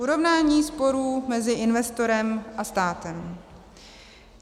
Urovnání sporů mezi investorem a státem.